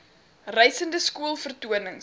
reisende skool vertonings